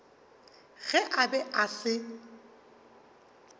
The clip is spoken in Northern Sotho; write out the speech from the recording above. ge a be a se